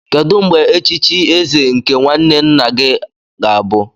Kedu mgbe echichi eze nke nwanne nna gị ga-abụ?